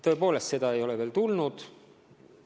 Tõepoolest, seda ei ole veel tulnud.